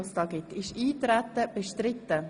Ist das Eintreten bestritten?